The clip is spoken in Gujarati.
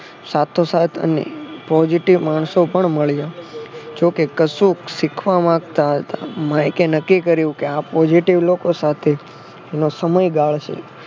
સાથો સાથ અને positive માણસો પણ મળ્યા. જોકે કશુંક શીખવા માંગતા હતા. માઈકે નક્કી કર્યું કે આ positive લોકો સાથે નો સમય ગાળશે.